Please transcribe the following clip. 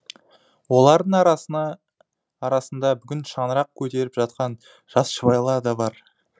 олардың арасында бүгін шаңырақ көтеріп жатқан жас жұбайлар да бар